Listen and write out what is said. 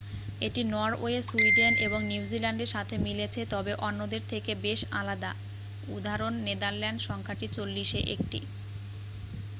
এটি Norway Sweden এবং নিউজিল্যান্ডের সাথে মিলেছে তবে অন্যদের থেকে বেশ আলাদা উদাঃ নেদারল্যান্ডে সংখ্যাটি চল্লিশে একটি।